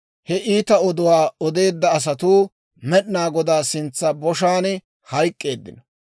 he iita oduwaa odeedda asatuu, Med'inaa Godaa sintsa boshaan hayk'k'eeddino.